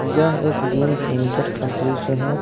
यह एक gym centre का दृश्य है।